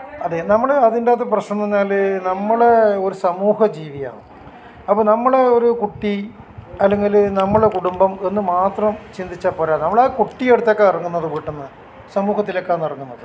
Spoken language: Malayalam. അതെ നമ്മൾ അതിനകത്ത് പ്രശ്നം എന്ന് പറഞ്ഞാൽ നമ്മൾ ഒരു സമൂഹ ജീവിയാണ് അപ്പൊ നമ്മളെ ഒരു കുട്ടി അല്ലെങ്കിൽ നമ്മളെ കുടുംബം എന്ന് മാത്രം ചിന്തിച്ചാ പോരാ നമ്മൾ ആ കുട്ടിയെ എടുത്തൊക്കെ ഇറങ്ങുന്നത് വീടീന്ന് സമൂഹത്തിലേക്കാണ് ഇറങ്ങുന്നത്